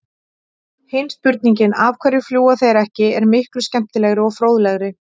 Hin spurningin, af hverju fljúga þeir ekki, er miklu skemmtilegri og fróðlegri!